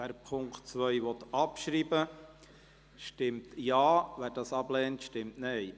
Wer den Punkt 2 abschreiben will, stimmt Ja, wer dies ablehnt, stimmt Nein.